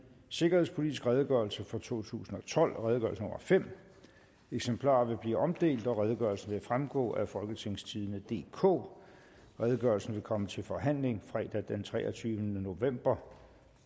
sikkerhedspolitisk redegørelse for totusinde og tolvte eksemplarer vil blive omdelt og redegørelsen vil fremgå af folketingstidende DK redegørelsen vil komme til forhandling fredag den treogtyvende november